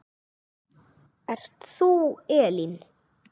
Ert þú Elín?